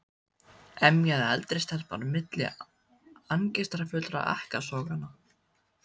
emjaði eldri stelpan á milli angistarfullra ekkasoganna.